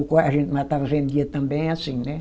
Ou co a gente matava, vendia também, assim, né?